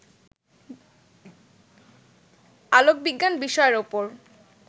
আলোকবিজ্ঞান বিষয়ের ওপর